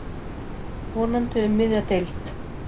Vonandi um miðja deild.